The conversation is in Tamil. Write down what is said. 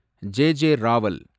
ஜே. ஜே. ராவல்